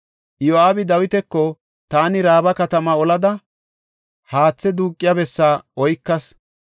Iyo7aabi Dawitako, “Taani Raaba katama olada, haathe duuqiya bessaa oykas.